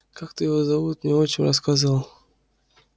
как-то его зовут мне отчим рассказывал